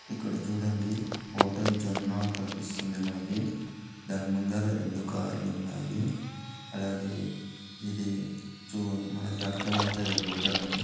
ఇక్కడ చుడండి హోటల్ కనిపిస్తుంది మనకి. దాని ముందర రెండు కార్లున్నాయి . అలాగే ఇది చూ-మనకి అర్థమైతది హోటల్ అని.